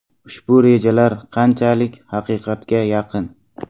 Ushbu rejalar qanchalik haqiqatga yaqin?